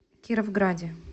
кировграде